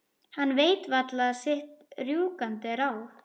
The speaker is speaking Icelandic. Hann veit varla sitt rjúkandi ráð.